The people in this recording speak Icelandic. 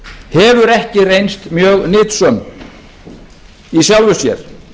hefur ekki reynst mjög nytsöm í sjálfu sér